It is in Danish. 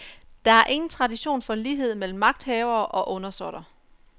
Der er ingen tradition for lighed mellem magthavere og undersåtter.